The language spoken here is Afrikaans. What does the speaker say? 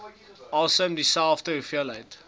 asem dieselfde hoeveelheid